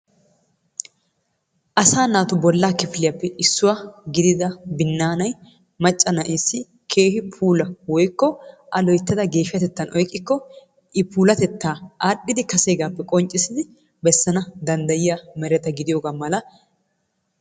Asaa naatu bollaa kifiliyappe issuwa gidida binnaanay macca na'eessi keehi puulaa woykko A loyttada geeshshatettan oyqqikko I puulatettaa aadhdhidi kaseegaappe qonccissidi bessana danddayiyogaa gidiyogaa mala